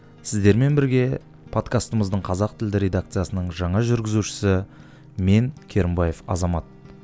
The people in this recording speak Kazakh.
сіздермен бірге подкастымыздың қазақ тілді редакциясының жаңа жүргізушісі мен керімбаев азамат